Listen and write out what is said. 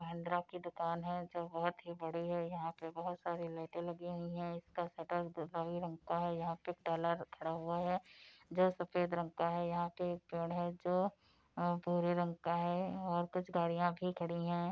महिंद्रा की दुकान है जो बोहोत ही बड़ी है। यहाँ पर बोहोत सारी लाइटें लगी हुई हैं इसका शटर गुलाबी रंग का है। यहाँ पर खड़ा हुआ है जो सफ़ेद रंग का है। यहाँ एक पेड़ है जो भूरे रंग का है और कुछ गाड़िया भी खड़ी है।